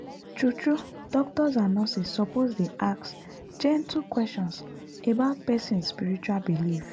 true true doctors and nurses suppose dey ask gentle questions about person spiritual belief.